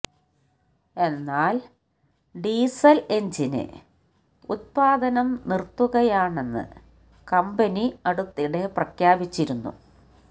എന്നാല് diesel engine ഉത്പാദനം നിര്ത്തുകയാണെന്ന് കമ്പനി അടുത്തിടെ പ്രഖ്യാപിച്ചിരുന്നു